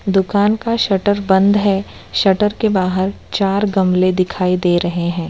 दुकान का शटर बंद है शटर के बाहर चार गमले दिखाई दे रहे हैं।